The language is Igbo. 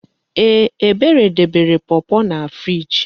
Ee! Ebere debere pọpọ na friiji.